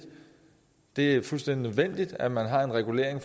det er fuldstændig nødvendigt at man har en regulering